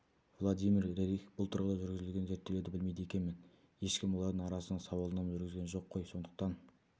владимир рерих бұл тұрғыда жүргізілген зерттеулерді білмейді екенмін ешкім олардың арасында сауалнама жүргізген жоқ қой сондықтан